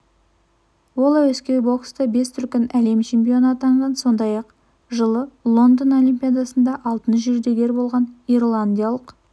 ол әуесқой бокста бес дүркін әлем чемпионы атанған сондай-ақ жылы лондон олимпиадасында алтын жүлдегер болған ирландиялық